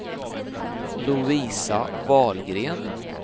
Lovisa Wahlgren